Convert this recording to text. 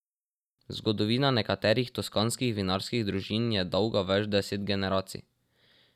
Zgodovina nekaterih toskanskih vinarskih družin je dolga več deset generacij.